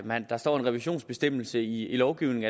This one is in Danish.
der står en revisionsbestemmelse i lovgivningen